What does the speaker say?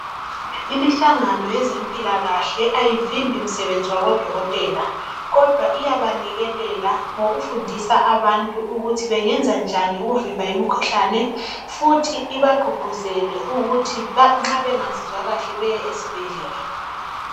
Imihlangano yezempilakahle ayivimbi imisebenzi yabodokotela kodwa iyabayeleleka ngokufundisa abantu ukuthi bengenzanjani ukuvimba imikhuhlane futhi ibagqugquzela ukuthi nxa bengezwa kahle baye esibhedlela